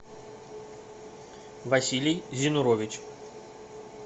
василий зинурович